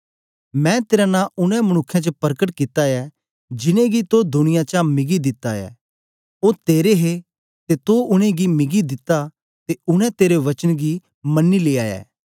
मैं तेरा नां उनै मनुक्खें च परकट कित्ता ऐ जिनेंगी तो दुनिया चा मिगी दिता ऐ ओ तेरे हे ते तो उनेंगी मिगी दिता ते उनै तेरे वचन गी मनी लिया ऐ